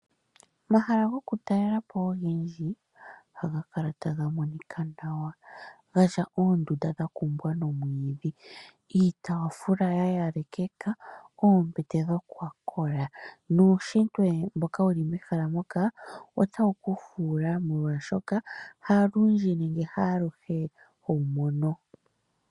Omahala goku talela po ogendji, ohaga kala taga monika nawa, gatya oondunda dha kumbwa nomwiidhi, iitaafula ya yalekeka, oombete dhokwa kola nuunshitwe mboka wuli mehala moka otawu ku fuula molwaashoka ha lundji nenge haaluhe hoyi mono.